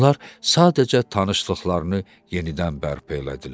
Onlar sadəcə tanışlıqlarını yenidən bərpa elədilər.